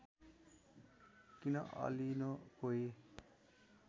किन अलिनो कोही